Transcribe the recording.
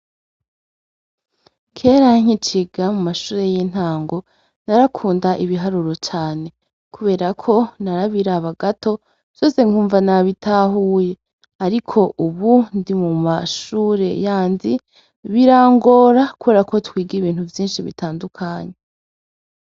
Kera nkiciga mu mashure y'intango, narakunda ibiharuro cane kubera ko narabiraba gato vyose nkumva nabitahuye, ariko ubu ndi mashure yandi birangora kubera ko twiga ibintu vyinshi bitandukanye.